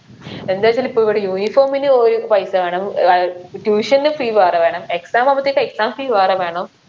എന്താച്ചാൽ ഇപ്പൊ ഇവിടെ uniform ന് ഒരു പൈസ വേണം ഏർ tuition ന് fee വേറെ വേണം exam ആവുമ്പത്തേക്ക് exam fee വേറെ വേണം ഓ